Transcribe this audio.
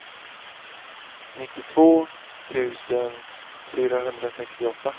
nittiotvå tusen fyrahundrasextioåtta